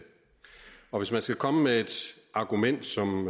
og hvis man skal komme med et argument som